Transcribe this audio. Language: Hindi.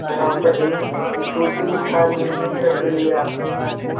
अपनी जूठी थाली में रख लिया